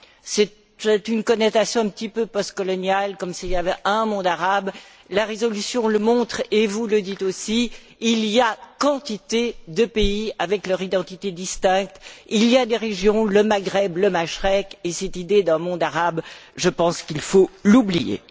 C'est une connotation un peu postcoloniale, comme s'il y avait un monde arabe. La résolution le montre, et vous le dites aussi, il y a quantité de pays avec leur identité distincte, il y a des régions, comme le Maghreb, le Mashrek, et cette idée de monde arabe, je pense qu'il faut l'oublier.